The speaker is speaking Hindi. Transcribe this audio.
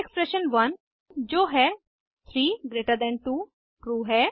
यहाँ एक्सप्रेशन 1 जो है 3जीटी2 ट्रू है